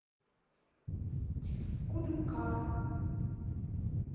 кудымкар